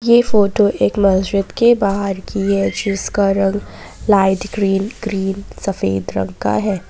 ये फोटो एक मस्जिद के बाहर की है जिसका रंग लाइट ग्रीन क्रीम सफेद रंग का है।